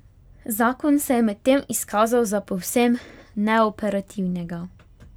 Zakon se je medtem izkazal za povsem neoperativnega.